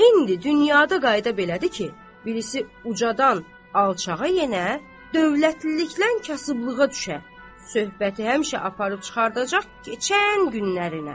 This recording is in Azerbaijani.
İndi dünyada qayda belədir ki, birisi ucadan alçağa yenə, dövlətlilikdən kasıblığa düşə, söhbəti həmişə aparıb çıxardacaq keçən günlərinə.